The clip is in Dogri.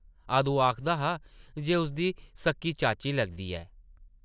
अदूं आखदा हा जे उसदी सक्की चाची लगदी ऐ ।